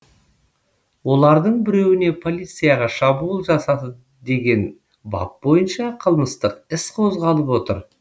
олардың біреуіне полицияға шабуыл жасады деген бап бойынша қылмыстық іс қозғалып отыр